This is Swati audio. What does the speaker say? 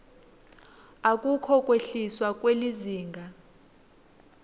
akukho kwehliswa kwelizinga